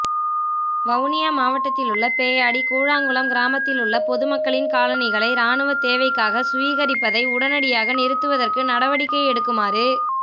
வவுனியா மாவட்டத்திலுள்ள பேயாடி கூழாங்குளம் கிராமத்திலுள்ள பொதுமக்களின் காணிகளை இராணுவத் தேவைக்காக சுவீகரிப்பதைஉடனடியாக நிறுத்துவதற்கு நடவடிக்கை எடுக்குமாறு